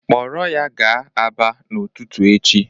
Kpọrọ ya gaa Aba n'ụtụtụ echi.